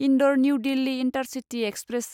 Indore New Delhi intercity express